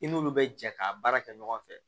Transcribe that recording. I n'olu bɛ jɛ ka baara kɛ ɲɔgɔn fɛ